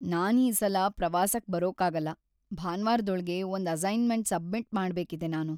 ನಾನ್ ಈ ಸಲ ಪ್ರವಾಸಕ್‌ ಬರೋಕಾಗಲ್ಲ. ಭಾನ್ವಾರ್‌ದೊಳ್ಗೆ ಒಂದ್ ಅಸೈನ್ಮೆಂಟ್ ಸಬ್ಮಿಟ್ ಮಾಡ್ಬೇಕಿದೆ ನಾನು.